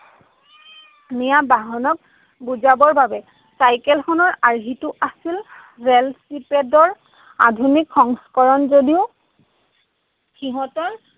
নিয়া বাহনক বুজাবৰ বাবে। চাইকেলখনৰ আৰ্হিটো আছিল আধুনিক সংস্কৰণ যদিও সিহঁতৰ